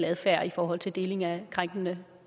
adfærd i forhold til deling af krænkende